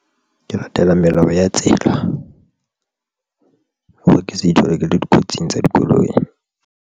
Ke latela melao ya tsela, hore ke se ithole ke le dikotsing tsa dikoloi.